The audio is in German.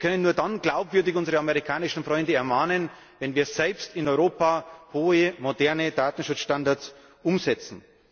Wir können nur dann glaubwürdig unsere amerikanischen Freunde ermahnen, wenn wir selbst in Europa hohe moderne Datenschutzstandards umsetzen.